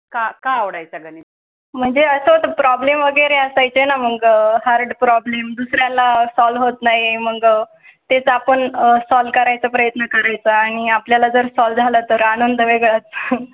म्हणजे असं problem वगैरे असाय च्या. मग हर problem दुसऱ्या ला सॉल्व होत नाही. मग तेच आपण आह सॉल्व करायचा प्रयत्न करायचा आणि आपल्या ला जर सॉल्व झाला तर आनंद वेगळाच. हो.